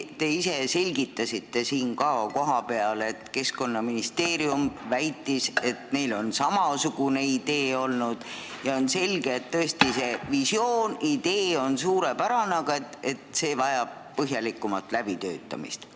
Te ise selgitasite ka siin kohapeal, et Keskkonnaministeerium väitis, et neil on samasugune idee olnud ja on selge, et see visioon, see idee on suurepärane, aga see vajab põhjalikumat läbitöötamist.